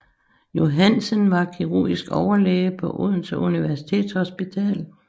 Johansen var kirurgisk overlæge på Odense Universitetshospital